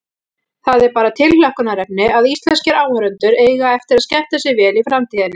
Það er bara tilhlökkunarefni að íslenskir áhorfendur eiga eftir að skemmta sér vel í framtíðinni.